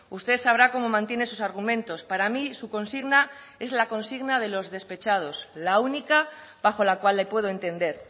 usted sabrá cómo mantiene sus argumentos para mí su consigna es la consigna de los despechados la única bajo la cual le puedo entender